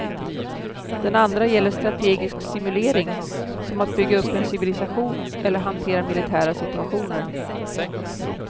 Den andra gäller strategisk simulering, som att bygga upp en civilisation eller hantera militära situationer.